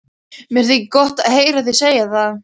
Mér þykir gott að heyra þig segja það.